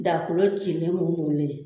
Daa kolo cilen mugumugulen